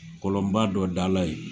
kɔlɔnba dɔ da la ye